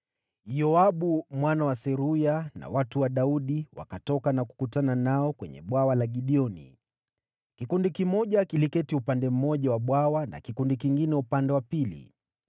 Yoabu mwana wa Seruya na watu wa Daudi wakatoka na kukutana nao kwenye bwawa la Gibeoni. Kikundi kimoja kiliketi upande mmoja wa bwawa, na kikundi kingine upande wa pili.